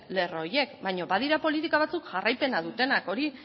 lerro horiek baina badira politika batzuk jarraipena dutenak